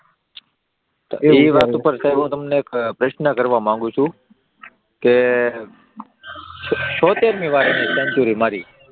એ વાત ઉપર હું તમને એક પ્રશ્ન કરવા માંગુ છું કે કે છોતેરની સેન્ચુરી મારી,